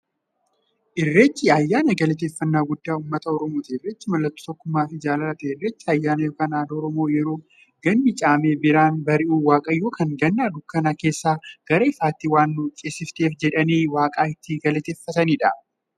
Irreechi ayyaana galateeffnnaa guddaa ummata oromooti. Irreechi mallattoo tokkummaafi jaalalaati. Irreechi ayyaana yookiin aadaa Oromoo yeroo ganni caamee birraan bari'u, waaqayyoon kan Ganna dukkana keessaa gara ifaatti waan nu ceesifteef jedhanii waaqa itti galateeffataniidha.